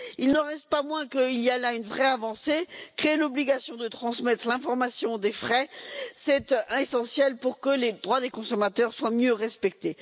Il n'en reste pas moins qu'il y a là une vraie avancée créer l'obligation de transmettre l'information sur les frais, c'est essentiel pour que les droits des consommateurs soient mieux respectés.